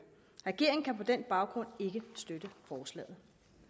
regeringen kan på den baggrund ikke støtte forslaget